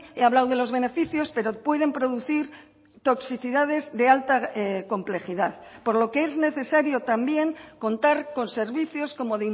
he hablado de los beneficios pero pueden producir toxicidades de alta complejidad por lo que es necesario también contar con servicios como